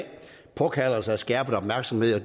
påkalder sig en skærpet opmærksomhed og